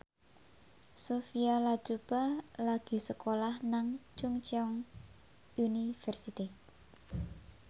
Sophia Latjuba lagi sekolah nang Chungceong University